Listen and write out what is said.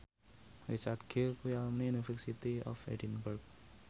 Richard Gere kuwi alumni University of Edinburgh